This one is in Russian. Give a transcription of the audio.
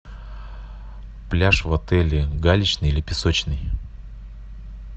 пляж в отеле галечный или песочный